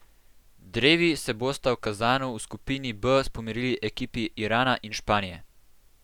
Drevi se bosta v Kazanu v skupini B pomerili ekipi Irana in Španije.